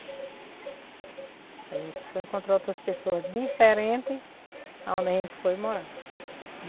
A gente foi encontrar outras pessoas diferentes aonde a gente foi morar.